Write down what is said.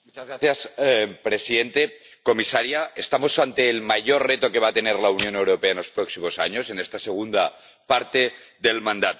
Señor presidente, comisaria. Estamos ante el mayor reto que va a tener la Unión Europea en los próximos años en esta segunda parte del mandato.